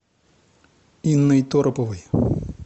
инной тороповой